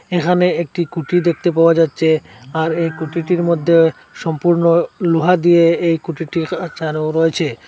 এখানে একটি খুঁটি দেখতে পাওয়া যাচ্ছে আর এই খুঁটিটির মধ্যে সম্পূর্ণ লোহা দিয়ে এই খুঁটিটি রয়েছে।